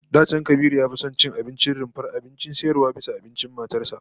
Da can Kabiru ya fi son ya ci abincin rumfar abincin sayarwa bisa abincin matar sa